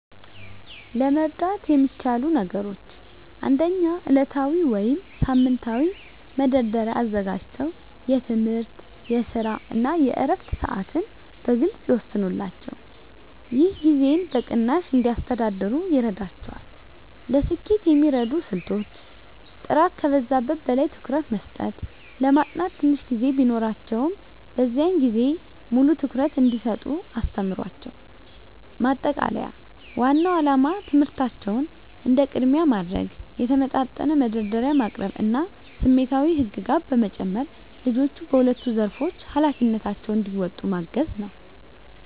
ለመርዳት የሚቻሉ ነገሮች 1. ዕለታዊ ወይም ሳምንታዊ መደርደሪያ አዘጋጅተው የትምህርት፣ የስራ እና የዕረፍት ሰዓትን በግልፅ ይወስኑላቸው። ይህ ጊዜን በቅናሽ እንዲያስተዳድሩ ይረዳቸዋል። ለስኬት የሚረዱ ስልቶች · ጥራት ከብዛት በላይ ትኩረት መስጠት ለማጥናት ትንሽ ጊዜ ቢኖራቸውም፣ በዚያን ጊዜ ሙሉ ትኩረት እንዲሰጡ አስተምሯቸው። ማጠቃለያ ዋናው ዓላማ ትምህርታቸውን እንደ ቅድሚያ ማድረግ፣ የተመጣጠነ መደርደሪያ ማቅረብ እና ስሜታዊ ህግጋት በመጨመር ልጆቹ በሁለቱም ዘርፎች ኃላፊነታቸውን እንዲወጡ ማገዝ ነው።